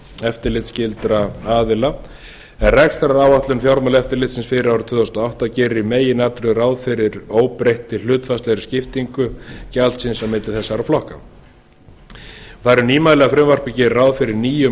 eftirlitsskyldra aðila en rekstraráætlun fjármálaeftirlitsins fyrir árið tvö þúsund og átta gerir í meginatriðum ráð fyrir óbreyttri hlutfallslegri skiptingu á milli þessara flokka það eru nýmæli að frumvarpið geri ráð fyrir nýjum